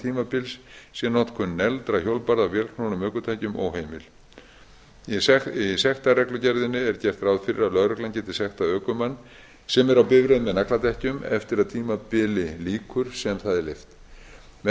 tímabils sé notkun negldra hjólbarða á vélknúnum ökutækjum óheimil í sektarreglugerðinni er gert ráð fyrir að lögreglan geti sektað ökumann sem er á bifreið með nagladekkjum eftir að því tímabili lýkur sem það er leyft með því